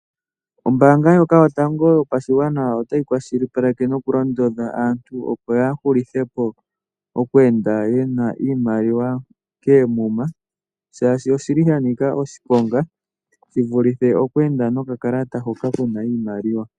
Gombaanga ndjoka yo tango yo pashigwa a, otayi kwashili paleke no kulundodha aantu opo ya hulithepo kku enda niimaliwa koomuma, shaashi oshili sha nika oshiponga shi vulithe oku enda nokakalata hoka kana iimaliwa.